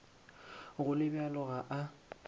go le bjalo ga a